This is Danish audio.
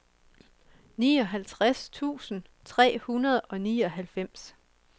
nioghalvtreds tusind tre hundrede og nioghalvfems